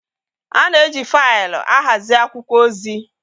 A na-eji faịlụ ahazi akwụkwọ ozi.